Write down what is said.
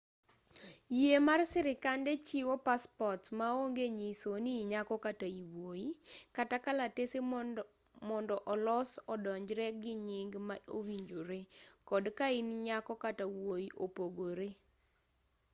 yie mar sirikande chiwo passports ma onge nyiso ni inyako kata iwuoyi x kata kalatese mondo olos odonjree gi nying ma owinjore kod kain nyako kata wuoyi opogore